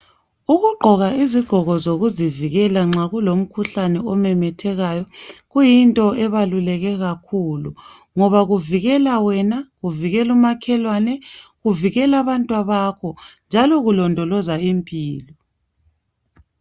Ukugqoka izigqoko zokuzivikela nxa kulomkhuhlane omemethekayo kuqakathekile kakhulu .Ngoba kuvikela wena ,kuvikela umakhelwane ,kuvikela abantwabakho .Njalo kulondoloza impilo.